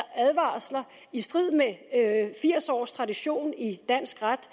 advarsler i strid med firs års tradition i dansk ret